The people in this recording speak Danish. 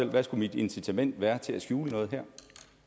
hvad skulle mit incitament være til at skjule noget her